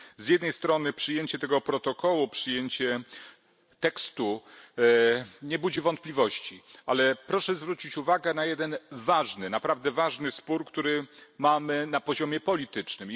Z jednej strony przyjęcie tekstu tego protokołu nie budzi wątpliwości, ale proszę zwrócić uwagę na jeden ważny, naprawdę ważny spór, który mamy na poziomie politycznym.